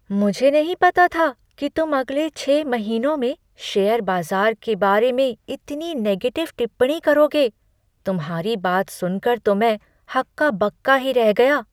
मुझे नहीं पता था कि तुम अगले छःमहीनों में शेयर बाज़ार के बारे में इतनी नेगेटिव टिप्पणी करोगे, तुम्हारी बात सुनकर तो मैं हक्का बक्का ही रह गया।